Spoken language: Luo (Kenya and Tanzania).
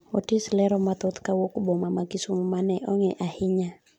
Otis lero mathoth kawuok boma ma Kisumo mane ong'i ahinya